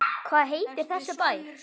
Hvað heitir þessi bær?